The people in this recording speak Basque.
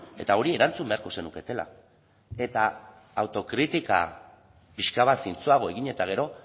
eta hori erantzun beharko zenuketela eta autokritika pixka bat zintzoago egin eta gero